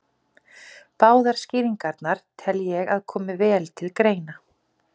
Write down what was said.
Báðar skýringarnar tel ég að komi vel til greina.